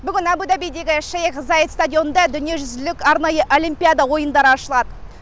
бүгін абу дабидегі шейх заед стадионында дүниежүзілік арнайы олимпиада ойындары ашылады